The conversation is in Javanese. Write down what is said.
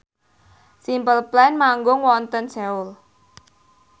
Simple Plan manggung wonten Seoul